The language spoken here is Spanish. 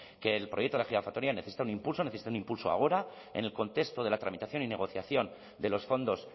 que el proyecto de la gigafactoría necesita un impulso necesita un impulso ahora en el contexto de la tramitación y negociación de los fondos